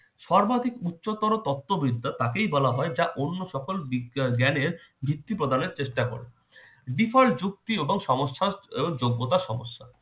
সর্বাধিক উচ্চতর তত্ত্ববিদ্যা তাকেই বলা হয় যা অন্য সকল বিগ~ জ্ঞানের ভিত্তি প্রদানের চেষ্টা করে। বিফল যুক্তি সমস্যার ও যোগ্যতা সমস্যা